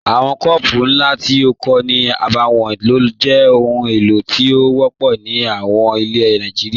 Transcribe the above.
Awọn kọọpụ̀ nlá tí kò ní àbáwọ̀n ló jẹ́ ọhun èlo tí o wọ̀pọ̀ ní àwọn ilẹ̀ Nàìjíríà.